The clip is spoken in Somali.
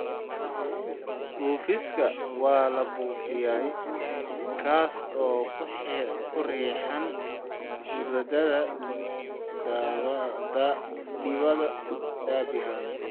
Buufiska waa la buufiyay, kaas oo ku riixaya huurada dibadda derbiga halbowlaha.